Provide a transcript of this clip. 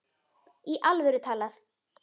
Í alvöru talað.